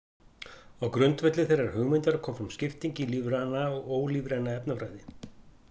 Á grundvelli þeirrar hugmyndar kom fram skipting í lífræna og ólífræna efnafræði.